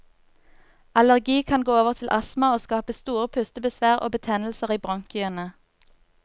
Allergi kan gå over til astma og skape store pustebesvær og betennelser i bronkiene.